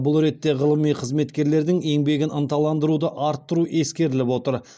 бұл ретте ғылыми қызметкерлердің еңбегін ынталандыруды арттыру ескеріліп отыр